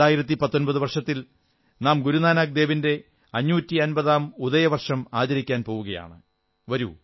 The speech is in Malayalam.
വരുന്ന 2019 വർഷത്തിൽ നാം ഗുരുനാനാക് ദേവിന്റെ 550ാം ഉദയവർഷം ആചരിക്കാൻ പോകയാണ്